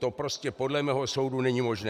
To prostě podle mého soudu není možné.